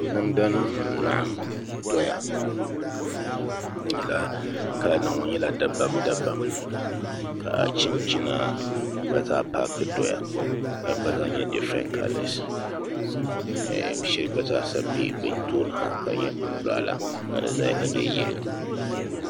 Namda nim n laɣam doya di kala nim nyɛla dabam dabam ka chinchina gba zaa paaki doya ka di gba zaa nyɛ difirɛnt kalɛs bin shɛli gba zaa bɛ bi tooni ha ka di nyɛ anbirɛla ka di ʒɛya ka nyɛ yɛlo